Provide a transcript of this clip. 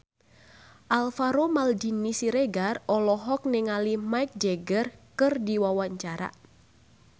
Alvaro Maldini Siregar olohok ningali Mick Jagger keur diwawancara